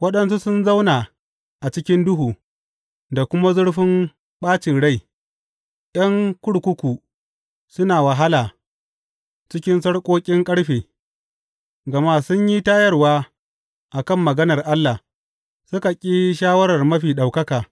Waɗansu sun zauna a cikin duhu da kuma zurfin ɓacin rai, ’yan kurkuku suna wahala cikin sarƙoƙin ƙarfe, gama sun yi tayarwa a kan maganar Allah suka ƙi shawarar Mafi Ɗaukaka.